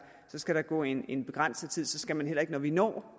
skal gå en en begrænset tid så skal der heller ikke når vi når